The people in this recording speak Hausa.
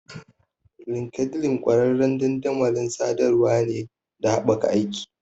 LinkedIn ƙwararren dandamalin sadarwar ne da haɓaka aiki.